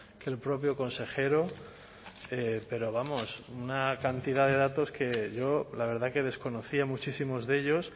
que el propio consejero pero vamos una cantidad de datos que yo la verdad que desconocía muchísimos de ellos